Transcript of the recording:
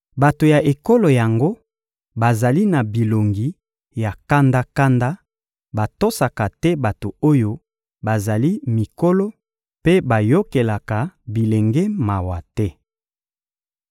Bato ya ekolo yango bazali na bilongi ya kanda-kanda, batosaka te bato oyo bazali mikolo mpe bayokelaka bilenge mawa te.